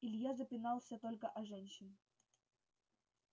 илья запинался только о женщин